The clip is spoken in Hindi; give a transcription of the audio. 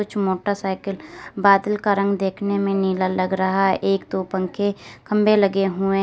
कुछ मोटरसाइकिल बादल का रंग देखने में नीला लग रहा एक दो पंखे खंबे लगे हुए --